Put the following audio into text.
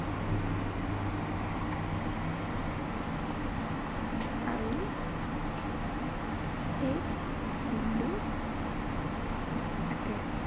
আৰু শেষ, বিন্দু থাকে।